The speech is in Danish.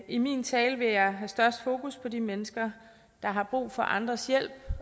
i min tale vil jeg have størst fokus på de mennesker der har brug for andres hjælp